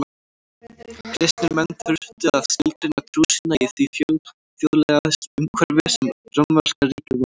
Kristnir menn þurftu að skilgreina trú sína í því fjölþjóðlega umhverfi sem rómverska ríkið var.